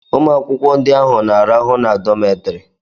Ụmụ akwụkwọ ahụ na-ararụ na dọmetiri